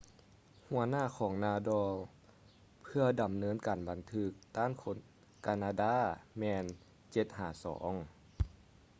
ຫົວໜ້າຂອງ nadal ເພື່ອດຳເນີນການບັນທຶກຕ້ານຄົນການາດາແມ່ນ 7-2